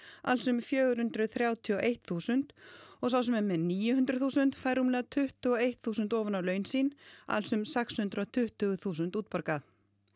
alls um fjögur hundruð þrjátíu og eitt þúsund og sá sem er með níu hundruð þúsund fær rúmlega tuttugu og eitt þúsund ofan á laun sín alls um sex hundruð og tuttugu þúsund útborguð